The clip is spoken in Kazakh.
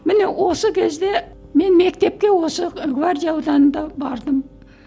міне осы кезде мен мектепке осы гвардия ауданында бардым